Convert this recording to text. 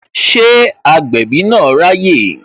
Ṣé agbẹ̀bí na ráyè?